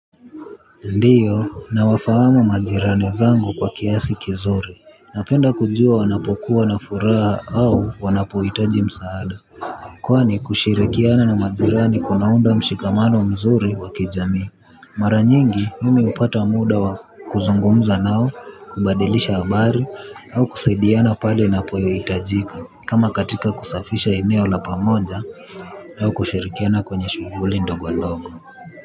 Ndiyo nawafahamu majirani zangu kwa kiasi vizuri. Napenda kujua wanapokuwa na furaha au wanapohitaji msaada. Kwani kushirikiana na majirani kunaunda mshikamano mzuri wa kijami. Mara nyingi mimi hupata muda wa kuzungumza nao kubadilisha habari au kusaidiana pale inapohitajika. Kama katika kusafisha eneo la pamoja au kushirikiana kwenye shughuli ndogo ndogo.